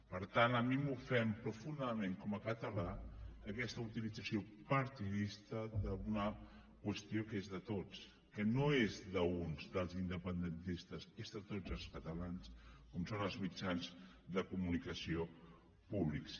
per tant a mi m’ofèn profundament com a català aquesta utilització partidista d’una qüestió que és de tots que no és d’uns dels independentistes és de tots els catalans com són els mitjans de comunicació públics